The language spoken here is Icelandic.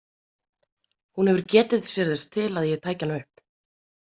Hún hefur getið sér þess til að ég tæki hana upp.